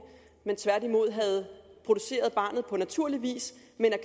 men havde produceret barnet på naturlig vis